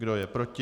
Kdo je proti?